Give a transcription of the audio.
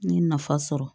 N ye nafa sɔrɔ